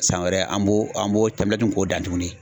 San wɛrɛ, an b'o an b'o k'o dan tukuni.